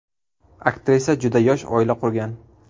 Aktrisa juda yosh oila qurgan.